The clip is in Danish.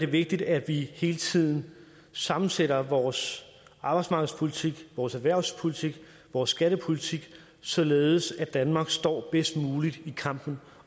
vigtigt at vi hele tiden sammensætter vores arbejdsmarkedspolitik vores erhvervspolitik vores skattepolitik således at danmark står bedst muligt i kampen